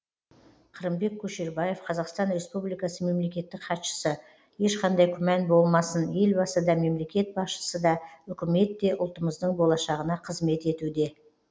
қырымбек көшербаев қазақстан республикасы мемлекеттік хатшысы ешқандай күмән болмасын елбасы да мемлекет басшысы да үкімет те ұлтымыздың болашағына қызмет етуде